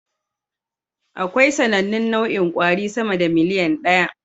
Akwai sanannun nau'in kwari sama da miliyan ɗaya